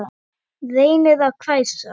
Reynir að hvæsa.